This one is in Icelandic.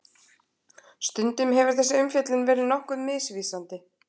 Stundum hefur þessi umfjöllun verið nokkuð misvísandi.